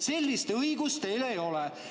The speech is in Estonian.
Sellist õigust teil ei ole.